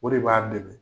O de b'a dɛmɛ